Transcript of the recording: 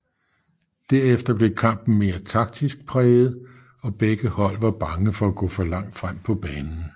Der efter blev kampen mere taktisk præget og begge hold var bange for at gå for langt frem på banen